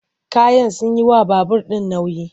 Kayan sun yi wa babur ɗin nauyi.